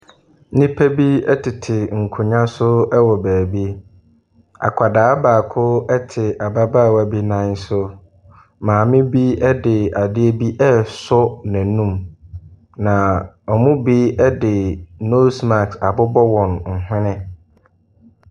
Nnipa bi ɛtete nkonnwa so ɛwɔ baabi. Akwadaa baako ɛte ababaawa bi nan so. Maame bi ɛde adeɛ bi resɔ n'anum. Na wɔn bi de nose mask abobɔ wɔn hwɛne.